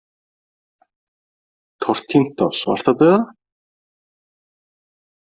Tortímt af svartadauða?